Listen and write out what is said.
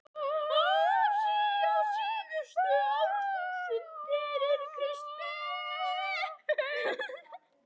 Asíu á síðustu árþúsundum fyrir Krists burð.